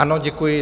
Ano, děkuji.